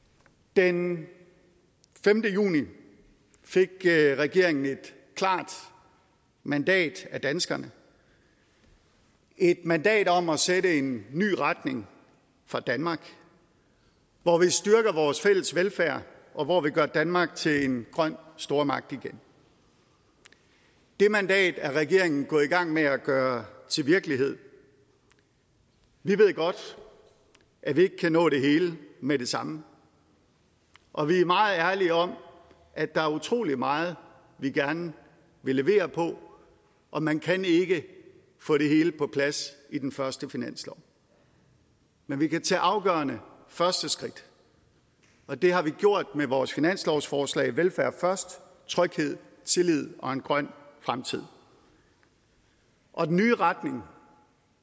den femte juni fik regeringen et klart mandat af danskerne et mandat om at sætte en ny retning for danmark hvor vi styrker vores fælles velfærd og hvor vi gør danmark til en grøn stormagt igen det mandat er regeringen gået i gang med at gøre til virkelighed vi ved godt at vi ikke kan nå det hele med det samme og vi er meget ærlige om at der er utrolig meget vi gerne vil levere på og man kan ikke få det hele på plads i den første finanslov men vi kan tage afgørende første skridt og det har vi gjort med vores finanslovsforslag velfærd først tryghed tillid og en grøn fremtid og den nye retning